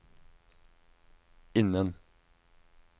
innen